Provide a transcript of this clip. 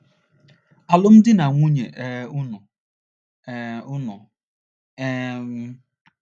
’alụmdi na nwunye um unu? um unu? um